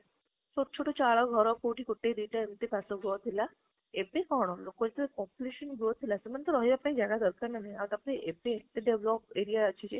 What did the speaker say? ତ ଛୋଟ ଘର କୋଉଠି ଗୋଟେ ଦିଟା ସେମିତି ଥିଲା ବେ କଣ ଲୋକ population growth ହେଲା ସେମାନେ ତ ରହିବ ପାଇଁ ଜାଗା ଦରକାର ନା ନାହିଁ ଆଉ ଏବେ ଡ developed area ଅଛି ଯେ